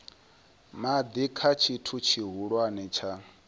madi kha tshithu tshihulwane tsha